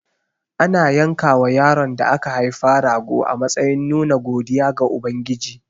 Ana yankawa yaron da aka haifa rago a matsayin nuna godiya ga Ubangiji.